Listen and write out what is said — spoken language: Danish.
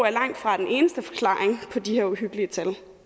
er langtfra den eneste forklaring på de her uhyggelige tal